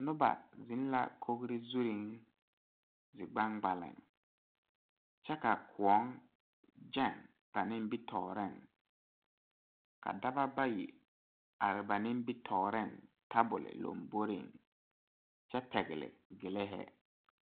Noba zeŋ la kogri zuri zie gbangbale ,kyɛ ka kõɔ gane ba nimitɔɔre ka dɔɔba bayi are ba nimitɔɔre tabol laŋbore kyɛ pegle gili hi.